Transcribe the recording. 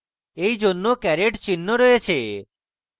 for জন্য caret চিহ্ন রয়েছে